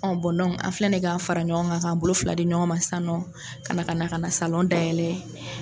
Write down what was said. Ɔ bɔn dɔnku, an filɛ de k'a fara ɲɔgɔn kan k'a bolo fila di ɲɔgɔn ma sa ka na ka salɔn dayɛlɛ!